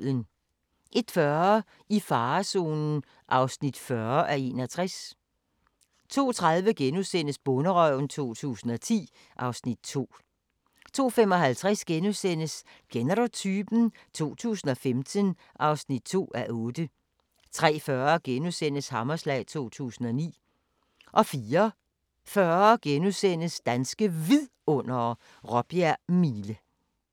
01:40: I farezonen (40:61) 02:30: Bonderøven 2010 (Afs. 2)* 02:55: Kender du typen? 2015 (2:8)* 03:40: Hammerslag 2009 * 04:40: Danske Vidundere: Råbjerg Mile *